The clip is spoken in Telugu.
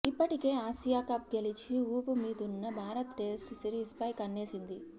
ఇప్పటికే ఆసియా కప్ గెలిచి ఊపుమీదున్న భారత్ టెస్ట్ సిరీస్ పై కన్నేసింది